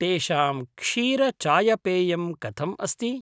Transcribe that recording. तेषां क्षीरचायपेयं कथम् अस्ति?